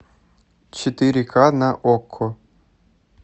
четыре ка на окко